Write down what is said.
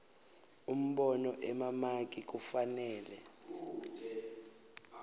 umbono emamaki kufanele